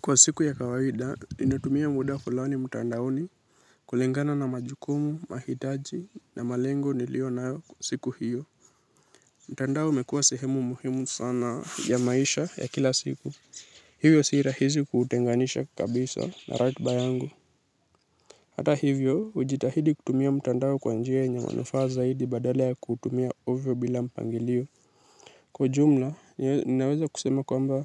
Kwa siku ya kawaida, ninatumia muda fulani mtandaoni kulingana na majukumu, mahitaji na malengo niliyo nayo siku hiyo. Mtandao umekua sehemu muhimu sana ya maisha ya kila siku. Hivyo si rahisi kutenganisha kabisa na ratiba yangu. Hata hivyo, hujitahidi kutumia mtandao kwa njia yenye manufaa zaidi badala ya kutumia ovyo bila mpangilio. Kwa jumla, ninaweza kusema kwamba,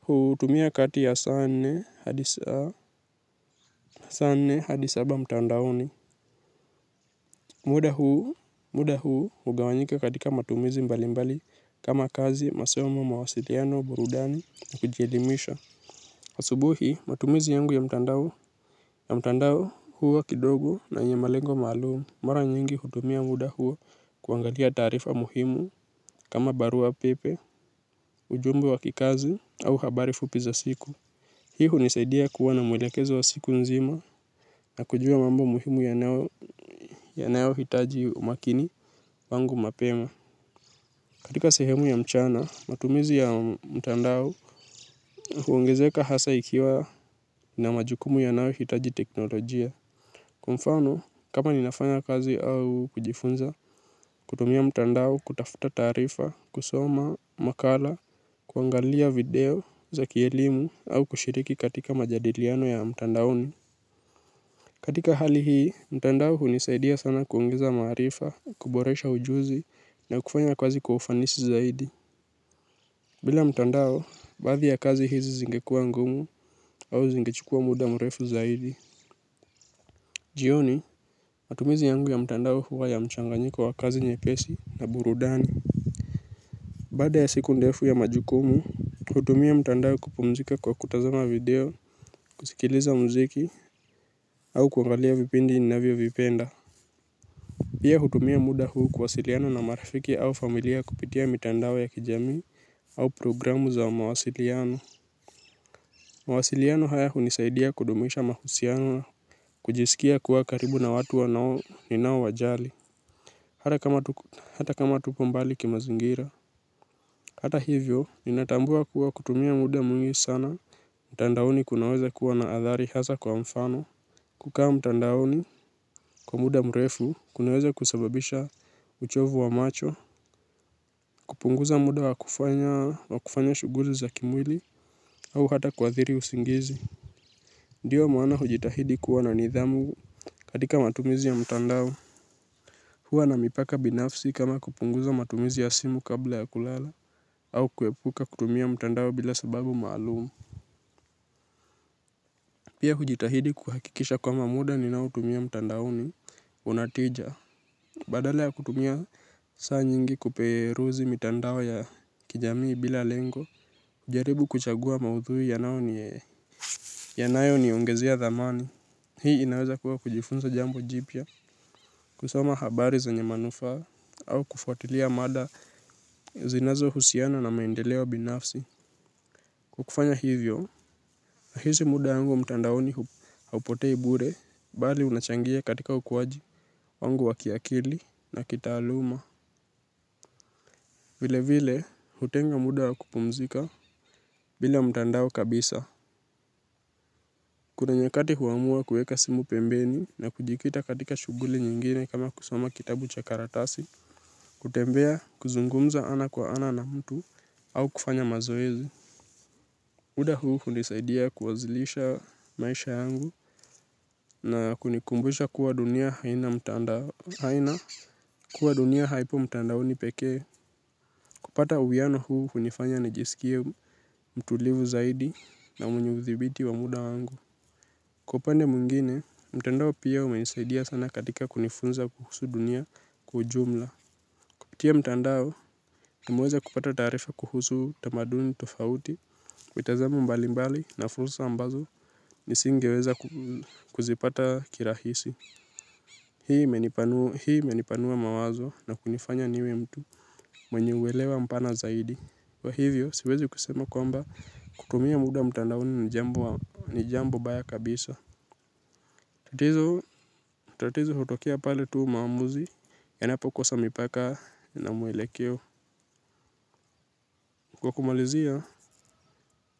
hutumia kati ya saa nne hadi saba mtandaoni. Muda huu hugawanyika katika matumizi mbali mbali kama kazi, masomo, mawasiliano, burudani, kujielimisha asubuhi, matumizi yangu ya mtandao huwa kidogo na yenye malengo maalumu. Mara nyingi hutumia muda huu kuangalia taarifa muhimu kama barua pepe, ujumbe wa kikazi au habari fupi za siku hii hunisaidia kuwa na mwelekezo wa siku nzima na kujua mambo muhimu yanayo hitaji umakini wangu mapema. Katika sehemu ya mchana, matumizi ya mtandao huongezeka hasa ikiwa na majukumu yanayo hitaji teknolojia mfano, kama ninafanya kazi au kujifunza kutumia mtandao kutafuta taarifa, kusoma makala, kuangalia video za kielimu au kushiriki katika majadiliano ya mtandaoni. Katika hali hii, mtandao hunisaidia sana kuongeza maarifa, kuboresha ujuzi na kufanya kazi kwa ufanisi zaidi bila mtandao, baadhi ya kazi hizi zingekua ngumu au zingechukua muda mrefu zaidi. Jioni, matumizi yangu ya mtandao huwa ya mchanganyiko wa kazi nyepesi na burudani baada ya siku ndefu ya majukumu, hutumia mtandao kupumzika kwa kutazama video, kusikiliza muziki, au kuangalia vipindi ninavyo vipenda. Pia hutumia muda huu kuwasiliana na marafiki au familia kupitia mitandao ya kijami au programu za mawasiliano. Mawasiliano haya hunisaidia kudumisha mahusiano, kujisikia kuwa karibu na watu ninao wajali. Hata kama hata kama tuko mbali kimazingira. Hata hivyo, ninatambua kuwa kutumia muda mwingi sana. Mtandaoni kunaweza kuwa na athari hasa kwa mfano. Kukaa mtandaoni kwa muda mrefu, kunaweza kusababisha uchovu wa macho, kupunguza muda wa kufanya shughuli za kimwili, au hata kuathiri usingizi. Ndio maana hujitahidi kuwa na nidhamu katika matumizi ya mtandao. Huwa na mipaka binafsi kama kupunguza matumizi ya simu kabla ya kulala, au kuepuka kutumia mtandao bila sababu malumu. Pia hujitahidi kuhakikisha kwamba muda ninao tumia mtandaoni una tija badala ya kutumia saa nyingi kuperuzi mitandao ya kijamii bila lengo, hujaribu kuchagua maudhui yanayo ni ongezea dhamani. Hii inaweza kuwa kujifunza jambo jipya, kusoma habari zenye manufaa au kufuatilia mada zinazo husiana na maendeleo binafsi. Kwa kufanya hivyo, nahisi muda wangu mtandaoni haupotei bure, bali unachangia katika ukuwaji wangu wa kiakili na kitaaluma. Vile vile, hutenga muda wa kupumzika bila mtandao kabisa kuna nyakati huamua kuweka simu pembeni na kujikita katika shughuli nyingine kama kusoma kitabu cha karatasi, kutembea, kuzungumza ana kwa ana na mtu au kufanya mazoezi muda huu hunisaidia kuwazilisha maisha yangu na kunikumbisha kuwa dunia haina mtandao. Haina kuwa dunia haipo mtandaoni pekee kupata uwiano huu hunifanya nijisikie mtulivu zaidi na mwenye uthibiti wa muda wangu. Kwa upande mwingine, mtandao pia hunisaidia sana katika kunifunza kuhusu dunia kwa ujumla. Kupitia mtandao nimeweza kupata taarifa kuhusu tamaduni tofauti, mitazamo mbali mbali na furusa ambazo nisingeweza kuzipata kirahisi. Hii imenipanua mawazo na kunifanya niwe mtu mwenye uelewa mpana zaidi. Kwa hivyo siwezi kusema kwamba kutumia muda mtandaoni ni jambo baya kabisa tatizo hutokea pale tu maamuzi yanapo kosa mipaka na mwelekeo. Kwa kumalizia.